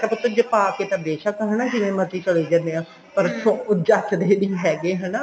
ਮੈਂ ਕਿਹਾ ਪੁੱਤ ਪਾਕੇ ਤਾਂ ਬੇਸ਼ਕ ਹਨਾ ਜਿਵੇਂ ਮਰਜੀ ਚਲੇ ਜਾਣੇ ਆ ਪਰ ਜਚਦੇ ਨਹੀਂ ਹੈਗੇ ਹਨਾ